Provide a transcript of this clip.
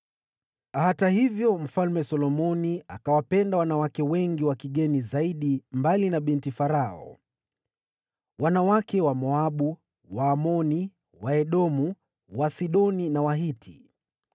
Hata hivyo, Mfalme Solomoni akawapenda wanawake wengi wa kigeni zaidi, mbali na binti Farao: wanawake wa Wamoabu, Waamoni, Waedomu, Wasidoni na Wahiti.